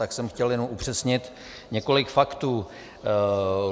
Tak jsem chtěl jenom upřesnit několik faktů.